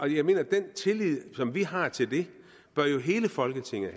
jeg mener at den tillid som vi har til det bør hele folketinget